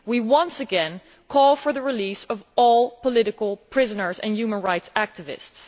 Once again we call for the release of all political prisoners and human rights activists.